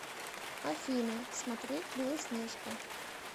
афина смотреть белоснежка